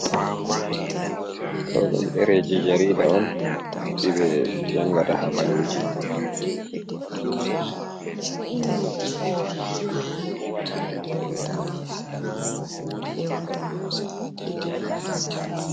Ɗo ɗum ɗereji jarida on ɗeɗe ɓe jangata habaruji.